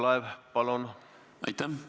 Aitäh!